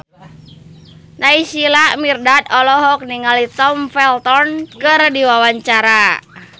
Naysila Mirdad olohok ningali Tom Felton keur diwawancara